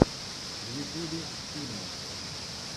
в ютьюбе фильмы